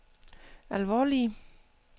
alvorlige